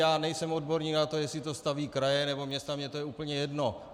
Já nejsem odborník na to, jestli to staví kraje, nebo města, mně to je úplně jedno.